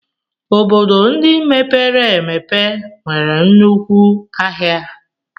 Obodo ndị mepere emepe nwere nnukwu ahịa.